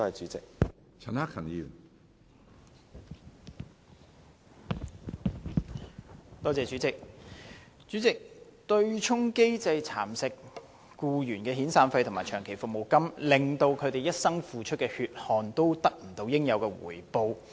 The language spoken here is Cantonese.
主席，強制性公積金的對沖機制蠶食僱員的遣散費和長期服務金，令他們一生付出的血汗得不到應有的回報。